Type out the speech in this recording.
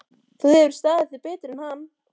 Þú hefur staðið þig betur en hann.